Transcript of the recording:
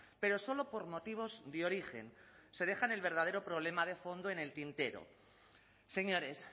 pero solo por motivos de origen se dejan el verdadero problema de fondo en el tintero señores